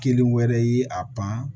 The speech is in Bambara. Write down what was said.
Kelen wɛrɛ y'i a pan